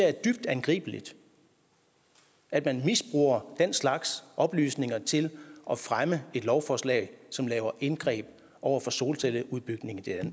er dybt angribeligt at man misbruger den slags oplysninger til at fremme et lovforslag som laver indgreb over for solcelleudbygningen